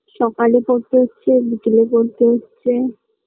সকালে পড়তে হচ্ছে বিকেলে পড়তে হচ্ছে